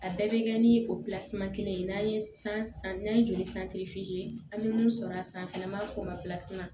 A bɛɛ bɛ kɛ ni o kelen ye n'an ye san n'an ye joli an bɛ mun sɔrɔ a sanfɛ n'an b'a fɔ o ma